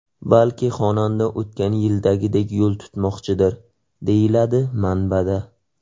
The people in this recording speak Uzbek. Balki xonanda o‘tgan yildagidek yo‘l tutmoqchidir, deyiladi manbada.